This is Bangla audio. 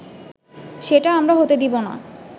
সেটা আমরা হতে দিবোনা